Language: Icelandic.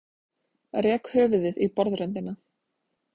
Rek höfuðið í borðröndina.